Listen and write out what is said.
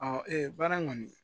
baara kɔni